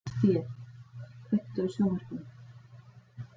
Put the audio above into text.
Kastíel, kveiktu á sjónvarpinu.